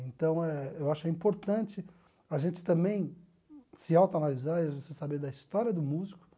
Então é, eu acho importante a gente também se autoanalisar e a gente saber da história do músico.